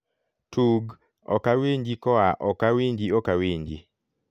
tug okawinji koa okawinji okawinji